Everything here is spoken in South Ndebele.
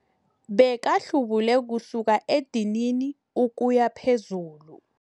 Bekahlubule kusukela edinini ukuya phezulu.